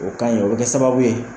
O ka ɲi o kɛ sababu ye